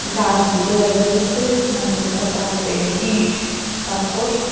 গাস দুইটা দেখা যাইতাসে নারকেল গাস আর এই ইট পাথর।